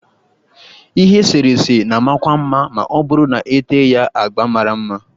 Ihe eserese na-amakwu mma ma ọ bụrụ na-ete ya agba mara mma